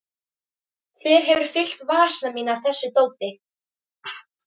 Hver hefur fyllt vasana mína af þessu dóti?